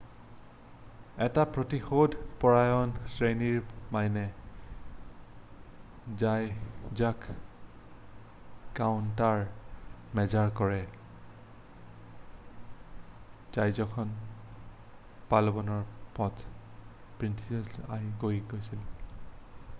এটা প্ৰতিশোধ পৰায়ণ শ্ৰেণীৰ মাইনে জাহাজক কাউণ্টাৰমেজাৰ কৰে জাহাজখনে পালাৱানৰ পৰ্ট' প্ৰিন্সিয়ালৈ গৈ আছিল